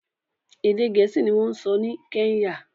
Èdè Gẹ̀ẹ́sì ni wọ́n ń sọ ní Kenya